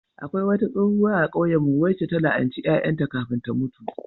Akwai wata tsohuwa a kauyenmu wacce a la'anci ƴaƴan ta kafin ta mutu.